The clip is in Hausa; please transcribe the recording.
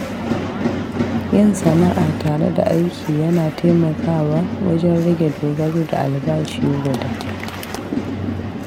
Yin sana’a tare da aiki yana taimakawa wajen rage dogaro da albashi guda.